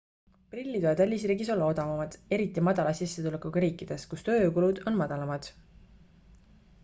prillid võivad välisriigis olla odavamad eriti madala sissetulekuga riikides kus tööjõukulud on madalamad